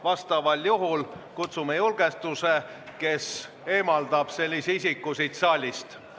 Vastasel juhul kutsume julgestuse, kes eemaldab sellise isiku siit saalist.